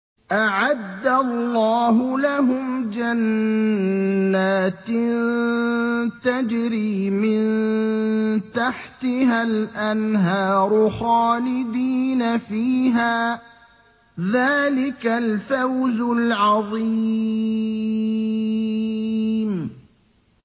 أَعَدَّ اللَّهُ لَهُمْ جَنَّاتٍ تَجْرِي مِن تَحْتِهَا الْأَنْهَارُ خَالِدِينَ فِيهَا ۚ ذَٰلِكَ الْفَوْزُ الْعَظِيمُ